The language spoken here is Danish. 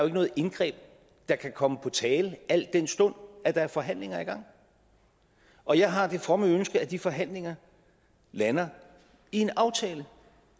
noget indgreb der kan komme på tale al den stund at der er forhandlinger i gang og jeg har det fromme ønske at de forhandlinger lander i en aftale